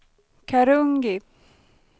Karungi